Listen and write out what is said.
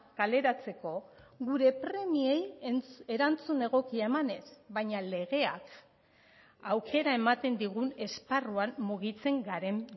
kaleratzeko gure premiei erantzun egokia emanez baina legeak aukera ematen digun esparruan mugitzen garen